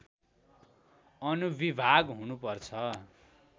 अनुविभाग हुनु पर्छ